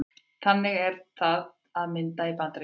Þannig er það til að mynda í Bandaríkjunum.